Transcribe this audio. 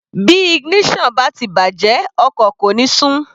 Bí ignition bá ti bàjẹ́ ọkọ̀ kò ní sún.